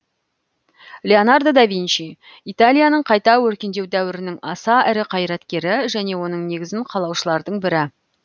леонардо да винчи италияның қайта өркендеу дәуірінің аса ірі қайраткері және оның негізін қалаушылардың бірі